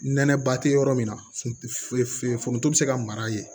Nɛnɛba te yɔrɔ min na funuf foronto be se ka mara yen